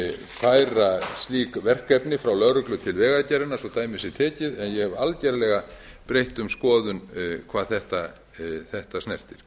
færa slík verkefni frá lögreglu til vegagerðarinnar svo dæmi sé tekið en ég hef algerlega breytt um skoðun hvað þetta snertir